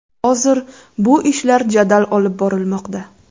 Hozir bu ishlar jadal olib borilmoqda.